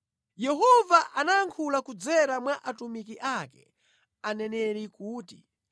Yehova anayankhula kudzera mwa atumiki ake, aneneri kuti,